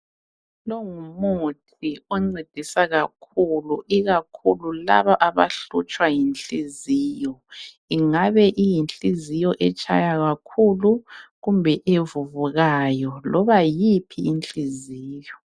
lo ngumuthi oncedisa kakhulu ikakhulu labo abahlutshwa yinhliziyo ingabe iyinhliziyo etshaya kakhulu kumbe evuvukayo loba yiyiphi inhliziyo